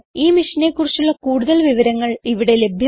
ഈ മിഷനെ കുറിച്ചുള്ള കുടുതൽ വിവരങ്ങൾ ഇവിടെ ലഭ്യമാണ്